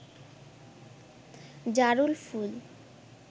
জারুল ফুল